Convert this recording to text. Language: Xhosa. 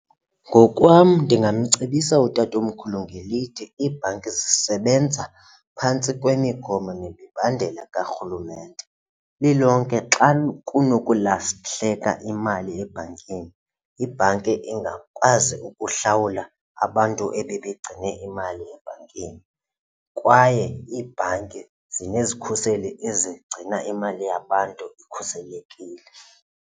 Ngokwam ndingamcebisa utatomkhulu ngelithi iibhanki zisebenza phantsi kwemigomo nemibandela karhulumente. Lilonke xa kunokulahleka imali ebhankini, ibhanki ingakwazi ukuhlawula abantu ebebegcine imali ebhankini kwaye iibhanki zinezikhuseli ezigcina imali yabantu ikhuselekile.